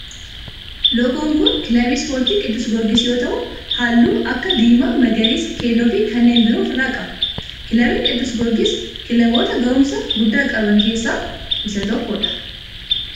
Loogoon kun kan kilabii ispoortii qiddus giyoorgis yoo ta'u halluu akka diimaa, magariisa, keelloo fi kanneen biroo of irraa qaba. Kilabiin qiddus giyoorgis kilaboota gahumsa guddaa qaban keessaa isa tokkodha.